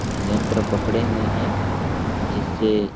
यंत्र पकड़े हुए है जिससे --